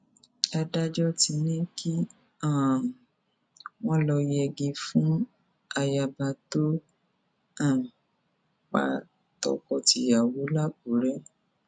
adájọ ti ní kí um wọn lọọ yẹgi fún ayaba tó um pa tọkọtìyàwó làkúrẹ